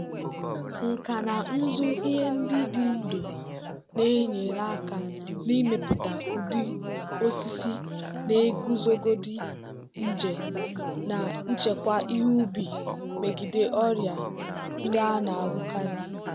nkà na ụzụ ihe ndị dị ndụ na-enyere aka n'ịmepụta ụdị osisi na-eguzogide nje na-echekwa ihe ubi megide ọrịa ndị a na-ahụkarị.